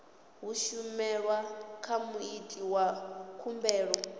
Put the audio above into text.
humiselwa kha muiti wa khumbelo